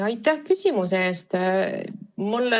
Aitäh küsimuse eest!